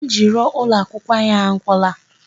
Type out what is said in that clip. Ihe eji rụọ ụlọ akwụkwọ anyị agwụla.